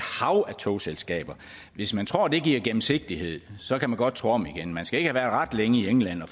hav af togselskaber hvis man tror det giver gennemsigtighed så kan man godt tro om igen man skal ikke have været ret længe i england og